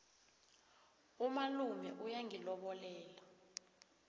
umalume uyongilobolela